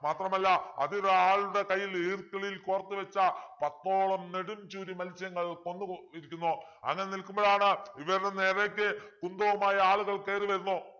മാത്രമല്ല അതിൽ ആളുടെ കയ്യിൽ ഈർക്കിളിൽ കോർത്തുവച്ച പത്തോളം നെടുംച്ചൂരി മൽസ്യങ്ങൾ കൊന്നു ഇരിക്കുന്നു അങ്ങനെ നിൽക്കുമ്പോളാണ് ഇവരുടെ നേരേക്ക് കുന്തവുമായി ആളുകൾ കേറി വരുന്നു